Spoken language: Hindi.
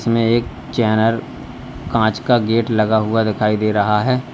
हमें एक चैनल कांच का गेट लगा हुआ दिखाई दे रहा है।